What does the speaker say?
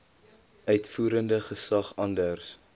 uitvoerende gesag anders